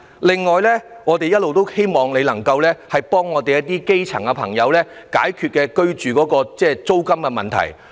此外，我們一直希望你可以幫助基層朋友解決住屋租金的問題。